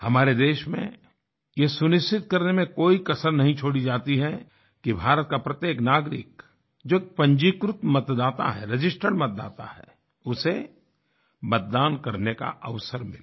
हमारे देश में यह सुनिश्चित करने में कोई कसर नहीं छोड़ी जाती है कि भारत का प्रत्येक नागरिक जो एक पंजीकृत मतदाता हैregistered मतदाता है उसे मतदान करने का अवसर मिले